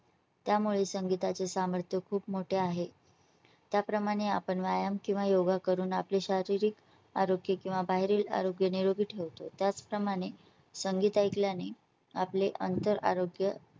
त्यामुळे संगीता चे सामर्थ्य खूप मोठे आहे . त्या प्रमाणे आपण व्यायाम किंवा योगा करून आपले शारीरिक आरोग्य किंवा बाहेरील आरोग्य निरोगी ठेवतो. त्याचप्रमाणे संगीत ऐकल्याने आपले अंतर आरोग्य.